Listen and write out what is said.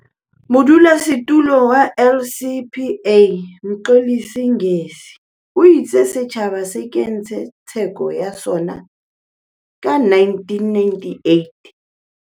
Modulasetulo wa LCPA, Mxolisi Ngesi, o itse setjhaba se kentse tseko ya sona ka 1998.